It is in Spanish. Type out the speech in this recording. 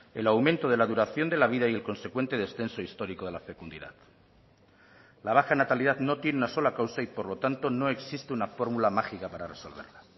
el aumento de la duración de la vida y el consecuente descenso histórico de la fecundidad la baja natalidad no tiene una sola causa y por lo tanto no existe una fórmula mágica para resolverla